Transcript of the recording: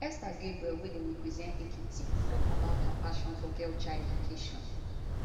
esther gabriel wey dey represent ekiti tok about her passion for girl child education